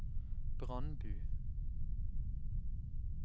Brandbu